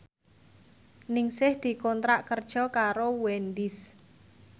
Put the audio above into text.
Ningsih dikontrak kerja karo Wendys